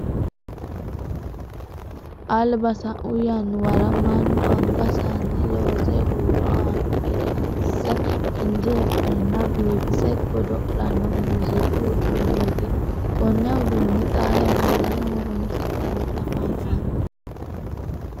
alba sa'u yannuwara mannu angansanni loose huuro aanno gede asse injeesenna biifise godo'lanno muziqu uduneeti. konne udunne xaa yannaranno horonsi'nanni afamanni.